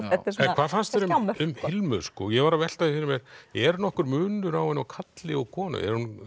hvað fannst þér um Hilmu ég var að velta því fyrir mér er nokkur munur á henni og karli og konu